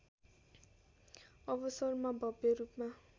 अवसरमा भव्य रूपमा